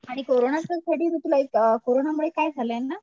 आणि कोरोनाचं तुला एक अ कोरोनामुळे काय झालंय ना